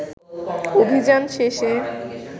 অভিযান শেষে